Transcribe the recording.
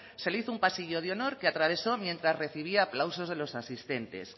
se le hizo un pasillo de honor que atravesó mientras recibía aplausos de los asistentes